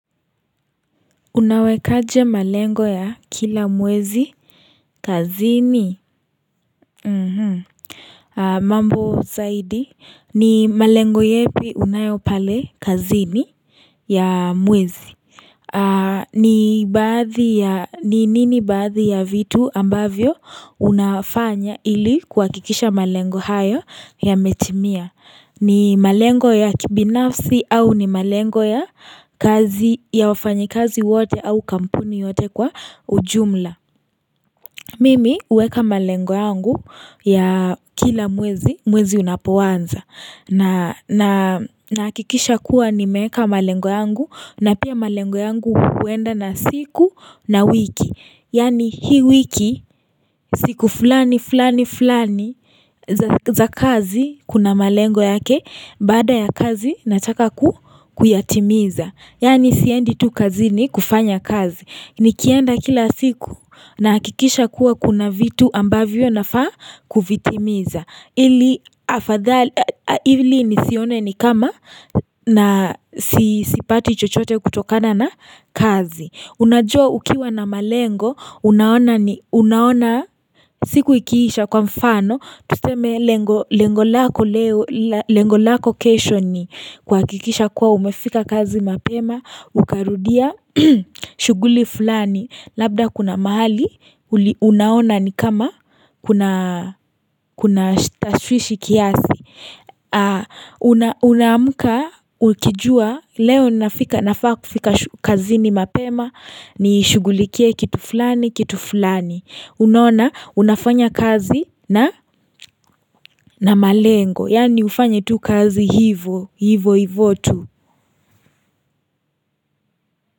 Unawekaje malengo ya kila mwezi kazini mambo zaidi ni malengo yepi unayopale kazini ya mwezi ni baadhi ya ni nini baadhi ya vitu ambavyo unafanya ili kwa kikisha malengo hayo ya metimia ni malengo ya kibinafsi au ni malengo ya kazi ya wafanyekazi wote au kampuni yote kwa ujumla. Mimi uweka malengo yangu ya kila mwezi mwezi unapoanza. Na nakikisha kuwa nimeka malengo yangu na pia malengo yangu uenda na siku na wiki. Yani hi wiki siku fulani fulani fulani za kazi kuna malengo yake baada ya kazi nataka kuyatimiza Yani siendi tu kazini kufanya kazi Nikienda kila siku na hakikisha kuwa kuna vitu ambavyo nafa kuvitimiza Ili nisione ni kama na sipati chochote kutokana na kazi Unajua ukiwa na malengo, unaona siku ikiisha kwa mfano Tuseme lengolako kesho ni kwa hakikisha kuwa umefika kazi mapema Ukarudia shuguli fulani Labda kuna mahali Unaona ni kama Kuna Kuna shushishi kiasi Unaamuka Ukijua Leo nafaka kufika kazi ni mapema ni shugulikie kitu fulani kitu fulani Unaona unafanya kazi na malengo Yani ufanye tu kazi hivo Hivo hivotu.